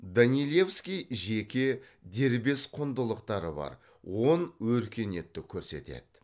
данилевский жеке дербес құндылықтары бар он өркениетті көрсетеді